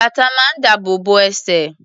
Bàtà máa ń dáàbò bo ẹsẹ̀.